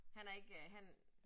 Han er ikke han